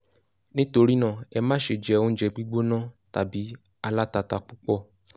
nítorí náà: ẹ má ṣe jẹ oúnjẹ gbígbóná tàbí alátatà púpọ̀